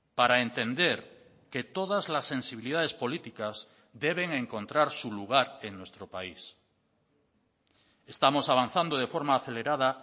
para entender que todas las sensibilidades políticas deben encontrar su lugar en nuestro país estamos avanzando de forma acelerada